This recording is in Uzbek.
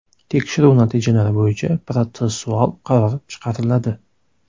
Tekshiruv natijalari bo‘yicha protsessual qaror chiqariladi.